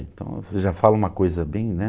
Então, você já fala uma coisa bem, né?